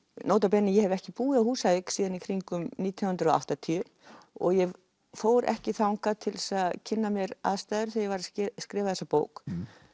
nota bene ég hef ekki búið á Húsavík síðan í kringum nítján hundruð og áttatíu og ég fór ekki þangað til þess að kynna mér aðstæður þegar ég var að skrifa þessa bók